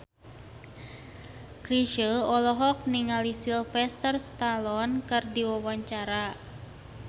Chrisye olohok ningali Sylvester Stallone keur diwawancara